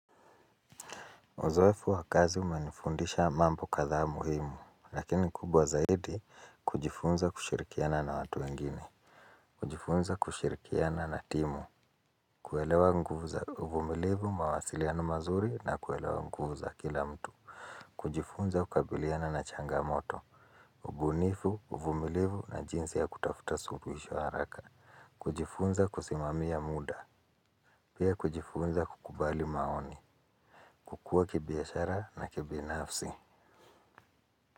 Uzoefu wa kazi umenifundisha mambo kadhaa muhimu lakini kubwa zaidi kujifunza kushirikiana na watu wengine. Kujifunza kushirikiana na timu. Kuelewa nguvu za uvumilivu mawasiliano mazuri na kuelewa nguvu za kila mtu. Kujifunza kukabiliana na changamoto. Ubunifu uvumilivu na jinsi ya kutafuta suluhisho haraka. Kujifunza kusimamia muda. Pia kujifunza kukubali maoni. Kukua kibiashara na kibinafsi.